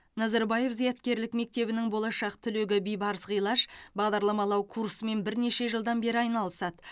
назарбаев зияткерлік мектебінің болашақ түлегі бибарыс ғилаж бағдарламалау курсымен бірнеше жылдан бері айналысады